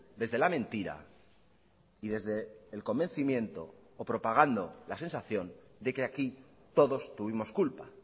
desde la mentira y desde el convencimiento o propagando la sensación de que aquí todos tuvimos culpa